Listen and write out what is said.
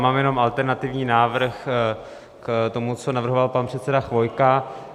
Mám jenom alternativní návrh k tomu, co navrhoval pan předseda Chvojka.